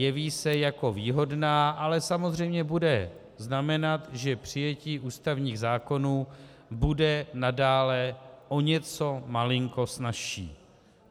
Jeví se jako výhodná, ale samozřejmě bude znamenat, že přijetí ústavních zákonů bude nadále o něco malinko snazší.